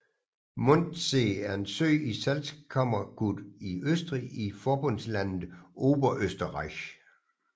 Mondsee er en sø i Salzkammergut i Østrig i forbundslandet Oberösterreich